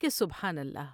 کہ سبحان اللہ